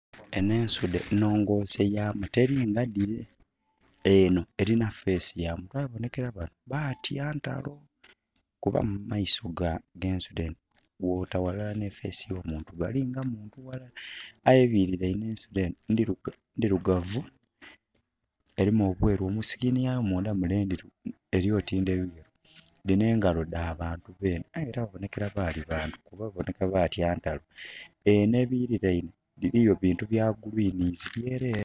Enh'ensudhe nhongose yamu teli nga dhile. Enho elina face ya muntu aye kubonhekela bano baatya ntalo. Kuba mu maiso g'ensudhe enho bwota ghalala nhi face y'omuntu, balinga muntu ghailara. Aye ebililainhe ensudhe enho ndhirugavu, elimu obweeru, mu skin yayo mundha mule, elyooti ndheruyeru. Dhino engalo dha bantu benhe aye ela babonhekela baali bantu, kuba babonheka baatya ntalo. Enho ebililainhe biliyo bintu bya greens byeleere.